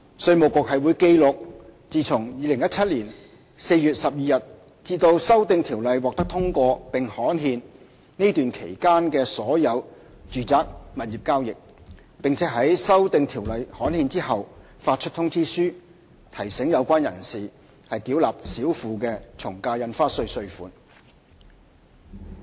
稅務局會記錄自2017年4月12日至修訂條例獲通過並刊憲這段期間的所有住宅物業交易，並於修訂條例刊憲後發出通知書，提醒有關人士繳納少付的從價印花稅稅款。